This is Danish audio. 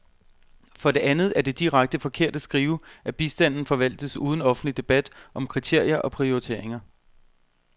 For det andet er det direkte forkert at skrive, at bistanden forvaltes uden offentlig debat om kriterier og prioriteringer.